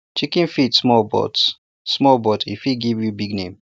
chicken fit small but small but e fit give you big name